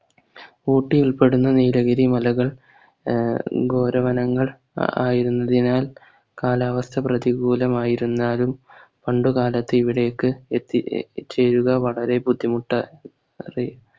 ഊട്ടി ഉൾപ്പെടുന്ന നീലഗിരി മലകൾ ആഹ് ഘോര വനങ്ങൾ അഹ് ആയിരുന്നതിനാൽ കാലാവസ്ഥ പ്രതികൂലമായിരുന്നാലും പണ്ടുകാലത്ത് ഇവിടേക്ക് എത്തി ഏർ ചേരുക വളരെ ബുദ്ധിമുട്ടേറിയ